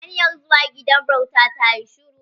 Hanyar zuwa gidan bauta ta yi shiru.